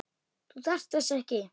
Þú þarft þess ekki.